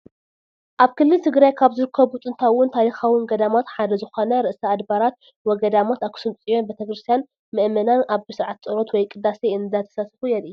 ኣብ ክልል ትግራይ ካብ ዝርከቡ ጥንታውን ታሪካውን ገዳማት ሓደ ዝኾነ ርእሰ ኣድባራት ወ-ገዳማት ኣክሱም ፅዮን ቤተ ክርስትያት ምአመናን ኣብ ስርዓተ ፀሎት ወይ ቅዳሴ እንዳተሳተፉ የርኢ፡፡